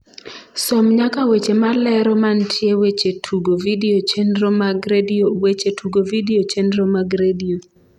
som nyaka weche malero mantie weche tugo vidio chenro mag redio weche tugo vidio chenro mag redio